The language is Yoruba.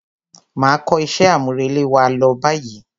Máa kó iṣẹ́ àmúrelé wa lọ báyìí.